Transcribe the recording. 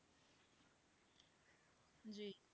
ਹਾਂਜੀ